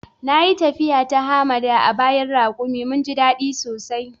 Na yi taffiya ta hamada a bayan rakumi. Mun ji dadi sosai.